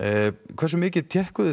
hversu mikið